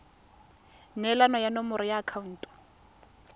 neelana ka nomoro ya akhaonto